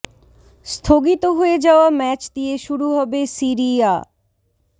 স্থগিত হয়ে যাওয়া ম্যাচ দিয়ে শুরু হবে সিরি আ